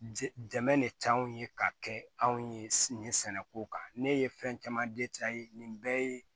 Dɛmɛ de ca anw ye ka kɛ anw ye nin sɛnɛko kan ne ye fɛn caman nin bɛɛ ye